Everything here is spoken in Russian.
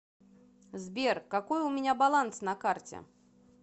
сбер какой у меня баланс на карте